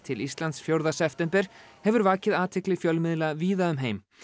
til Íslands fjórða september hefur vakið athygli fjölmiðla víða um heim